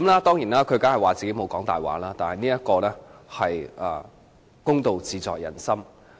當然，他聲稱自己沒有說謊，但公道自在人心。